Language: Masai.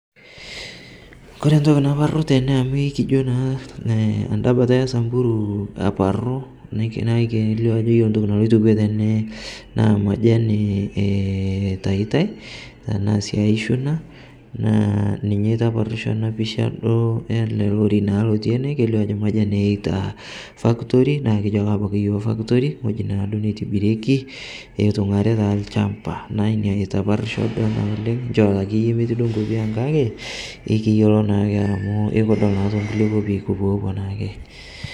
Kore ntoki naparu tene amu ikijo naa tanda bata esamburu aparu naa keilio ajo iyolo ntoki naloito kwee tenee naa majani eitaitai tanaa sii aichuna naa ninye eitaparisho ana pichaa duo elee lorry naa lotii enee keilio ajo majani eyeitaa fatory naa kijo abaki ake yoo factory ng'oji naaduo neitibirieki eitung'ari taa lchampa inia eitaparisho duo einia oleng' nchoo taakeye emeti nkopii ang' kakee ikiyolo naake amu ikidol naa tonkulie kopii kupoopuo naake.